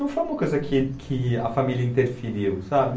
Não foi uma coisa que que a família interferiu, sabe?